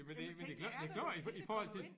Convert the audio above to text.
Men pengene er der jo pengene kommer jo ind